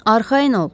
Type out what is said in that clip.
Arxayın ol.